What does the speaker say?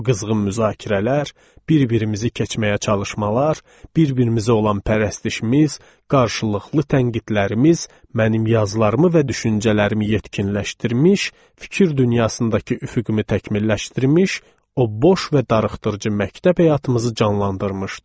O qızğın müzakirələr, bir-birimizi keçməyə çalışmalar, bir-birimizə olan pərəstişimiz, qarşılıqlı tənqidlərimiz mənim yazılarımı və düşüncələrimi yetkinləşdirmiş, fikir dünyasındakı üfüqümü təkmilləşdirmiş, o boş və darıxdırıcı məktəb həyatımızı canlandırmışdı.